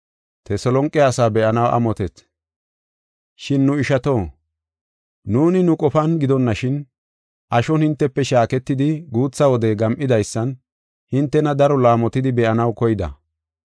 Shin nu ishato, nuuni nu qofan gidonashin, ashon hintefe shaaketidi guutha wode gam7idaysan hintena daro laamotidi be7anaw koyida.